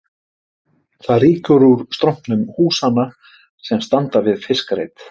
Það rýkur úr strompum húsanna sem standa við fiskreit